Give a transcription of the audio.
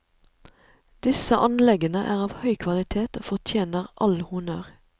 Disse anleggene er av høy kvalitet og fortjener all honnør.